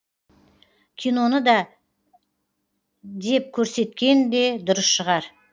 киноны да деп көрсеткен де дұрыс шығар